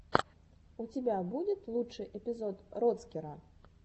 у тебя будет лучший эпизод роцкера